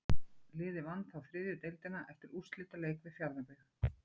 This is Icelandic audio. Liðið vann þá þriðju deildina eftir úrslitaleik við Fjarðabyggð.